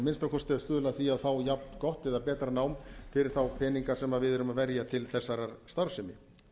minnsta kosti að stuðla að því að fá jafngott eða betra nám fyrir þá peninga sem við erum að verja til þessarar starfsemi